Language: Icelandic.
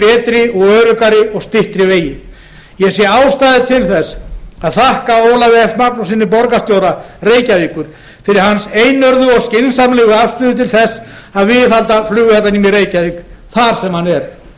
betri öruggari og styttri vegi ég sé ástæðu til þess að þakka ólafi f magnússyni borgarstjóra reykjavíkur fyrir hans einörðu og skynsamlegu afstöðu til þess að viðhalda flugvellinum í reykjavík þar sem hann er